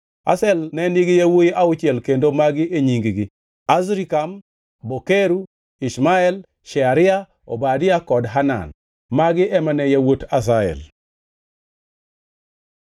Azel ne nigi yawuowi auchiel kendo magi e nying-gi: Azrikam, Bokeru, Ishmael, Shearia, Obadia kod Hanan. Magi ema ne yawuot Azel.